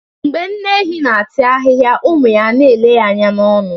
Mgbe nne ehi na-ata ahịhịa ụmụ ya na-ele ọnụ ya